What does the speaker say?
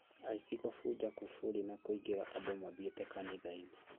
Aici kũbunja kuburi na kũingĩra andũ mathiĩte kanitha-inĩ